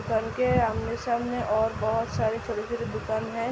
सबके आमने-सामने और बहोत सारी छोटे-छोटे दुकान हैं।